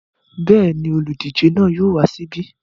Bẹ́ẹ̀ ni, olùdíje náà yóò wá síbí.